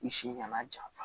I si nana janfa